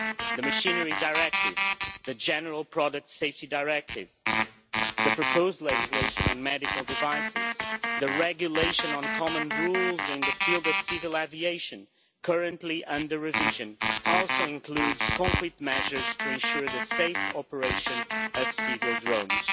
The Machinery Directive, the General Product Safety Directive, the proposed legislation on medical devices, and the regulation on common rules in the field of civil aviation currently under revision also includes concrete measures to ensure the safe operation of civil drones.